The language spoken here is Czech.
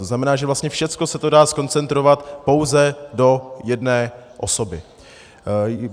To znamená, že vlastně všechno se to dá zkoncentrovat pouze do jedné osoby.